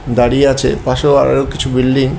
দাঁড়িয়ে আছে পাশেও আরও কিছু বিল্ডিং --